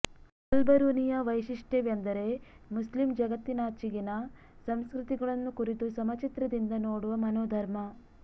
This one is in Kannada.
ಅಲ್ಬರುನಿಯ ವೈಶಿಷ್ಟ್ಯವೆಂದರೆ ಮುಸ್ಲಿಮ್ ಜಗತ್ತಿನಾಚೆಗಿನ ಸಂಸ್ಕೃತಿಗಳನ್ನು ಕುರಿತು ಸಮಚಿತ್ರದಿಂದ ನೋಡುವ ಮನೋಧರ್ಮ